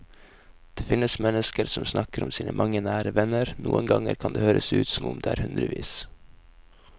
Det finnes mennesker som snakker om sine mange nære venner, noen ganger kan det høres ut som om det er hundrevis.